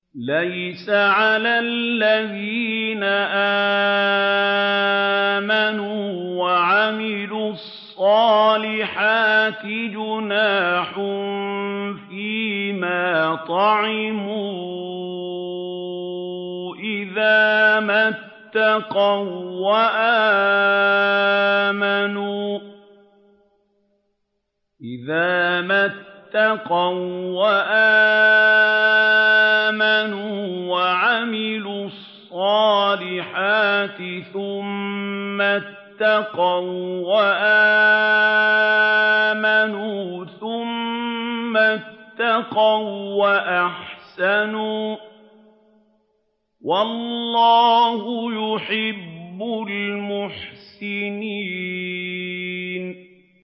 لَيْسَ عَلَى الَّذِينَ آمَنُوا وَعَمِلُوا الصَّالِحَاتِ جُنَاحٌ فِيمَا طَعِمُوا إِذَا مَا اتَّقَوا وَّآمَنُوا وَعَمِلُوا الصَّالِحَاتِ ثُمَّ اتَّقَوا وَّآمَنُوا ثُمَّ اتَّقَوا وَّأَحْسَنُوا ۗ وَاللَّهُ يُحِبُّ الْمُحْسِنِينَ